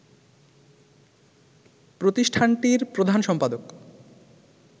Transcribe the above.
প্রতিষ্ঠানটির প্রধান সম্পাদক